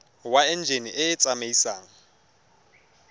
wa enjine e e tsamaisang